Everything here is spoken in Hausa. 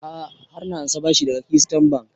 A'a har na ansa bashi daga keystone bank